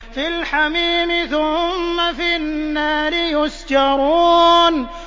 فِي الْحَمِيمِ ثُمَّ فِي النَّارِ يُسْجَرُونَ